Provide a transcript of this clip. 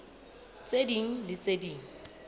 tse ding le tse ding